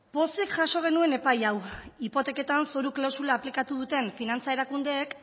pozik jaso genuen epai hau hipoteketan zoru klausula aplikatu duten finantza erakundeek